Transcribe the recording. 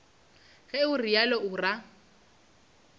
ge o realo o ra